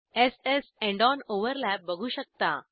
s स् end on overlap बघू शकता